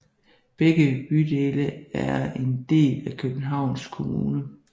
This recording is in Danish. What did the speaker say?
Begge bydele er en del af Københavns Kommune